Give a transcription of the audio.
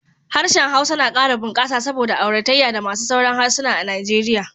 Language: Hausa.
Harshen Hausa na kara bunkasa saboda auratayya da masu sauran harsuna a Nigeria